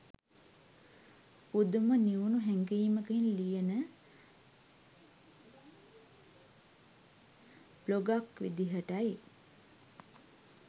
පුදුම නිවුනු හැඟීමකින් ලියන බ්ලොගක් විදිහටයි.